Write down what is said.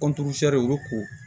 olu ko